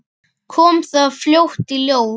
Kom það fljótt í ljós?